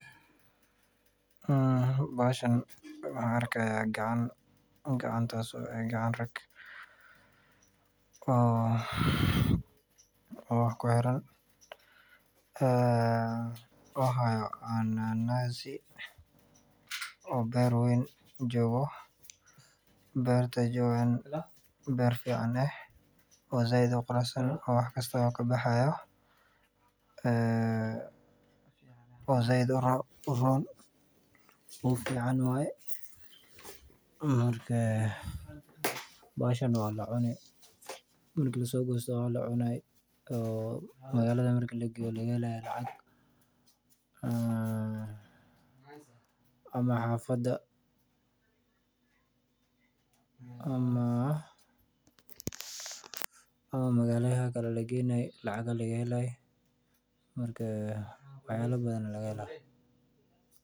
waxan arka qacan raag waxa waye cananas ee beer weyn jogo beer fican said uquruxsan wax walbo kabaxo marki lasoqoyo walacuni magalada lageyo lagaheli lacag ama xafada ama magalayal kale lageyni lacag laga heli